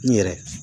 N yɛrɛ